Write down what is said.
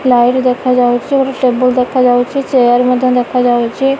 Light ଦେଖାଯାଉଛି ଗୋଟେ table ଦେଖାଯାଉଛି ଚେୟାର ମଧ୍ଯ ଦେଖାଯାଉଛି।